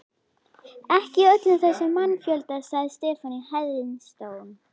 Ekki í öllum þessum mannfjölda, sagði Stefán í hæðnistón.